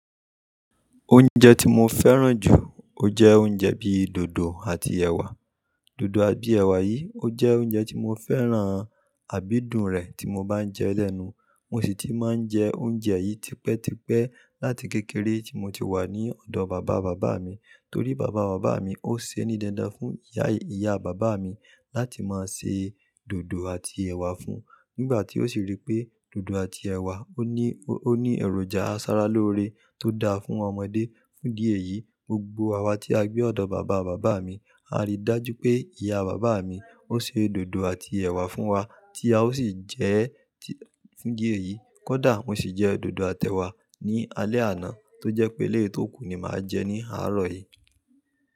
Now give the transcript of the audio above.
Oúnjẹ tí mo fẹ́ràn jù, ó jẹ́ oúnjẹ bí i dòdò àti ẹ̀wà. Dòdò àbí ẹ̀wà yìí, ó jẹ́ oúnjẹ tí mo fẹ́ràn, àbí dùn rẹ̀ tí mo bá ń jẹ lẹ́nu. Mo sì ti máa ń jẹ oúnjẹ yìí tipẹ́ tipẹ́ láti kékeré tí mo ti wà ní ọ̀dọ̀ bàbá bàbá mi. Torí bàbá bàbá mi ó ṣe ónídanda fún ìyá ìyá bàbá mi láti máa ṣe dòdò àti ẹ̀wà fún un. Nígbà tí ó sì rí pé dòdò àti ẹ̀wà ó ní, ó ní èròjà aṣaralóore tó da fún ọmọdé. Fún di èyí, gbogbo àwa tí a gbé ọ̀dọ̀ bàbá bàbá mi, a rí i dájú pé ìyá bàbá mi ó ṣe dòdò àti ẹ̀wà fún wa tí a ó sì jẹ ẹ́. Fún di èyí, kódà mo sì jẹ dòdò àti ẹ̀wà ní alẹ̀ àná tó jẹ́ pé eléyìí tó kù ni màá jẹ ní àárọ̀ yìí.